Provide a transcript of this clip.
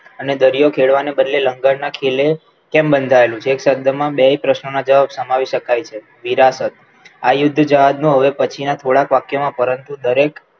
અને દરિયો ખેડવા ને બદલે લંગર નાખી લે કેમ બંધાયેલું છે એક શબ્દમાં બે પ્રશ્નોના જવાબ સમાવી શકાય છે વિરાશત આ યુદ્ધ જહાજનો હવે પછીના થોડાક વાક્યમાં પરંતુ